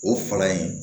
O fala in